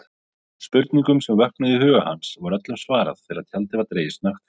Spurningunum sem vöknuðu í huga hans var öllum svarað þegar tjaldið var dregið snöggt frá.